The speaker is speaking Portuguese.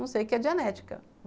Não sei o que é dianética.